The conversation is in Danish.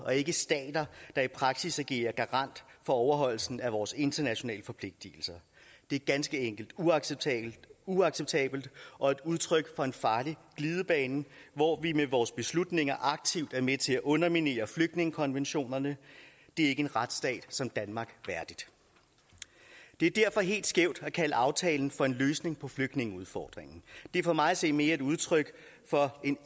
og ikke stater der i praksis er garant for overholdelsen af vores internationale forpligtelser det er ganske enkelt uacceptabelt uacceptabelt og udtryk for en farlig glidebane hvor vi med vores beslutninger aktivt er med til at underminere flygtningekonventionerne det er ikke en retsstat som danmark værdigt det er derfor helt skævt at kalde aftalen for en løsning på flygtningeudfordringen det er for mig at se mere et udtryk for en